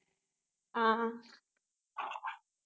ஆஹ்